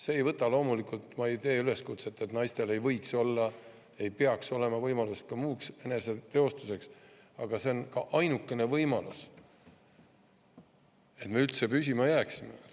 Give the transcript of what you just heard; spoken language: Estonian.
Ma ei tee muidugi üleskutset ega ütle, et naistel ei peaks olema võimalust muuks eneseteostuseks, aga see on ainukene võimalus, et me üldse püsima jääksime.